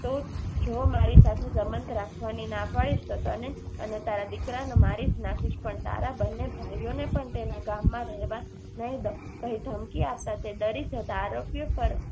તો જો મારી સાથે સંબંધ રાખવાની ના પાડીશ તો તને અને તારા દીકરાને મારીજ નાખિસ પણ તારા બંને ભાઈઓને પણ તેના ગામમાં માં રહેવા નહિ દવ. કહી ધમકી આપતા તે ડરી જતાં આરોપી ઉપર